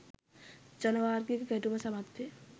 ජනවාර්ගික ගැටුම සමත් වේ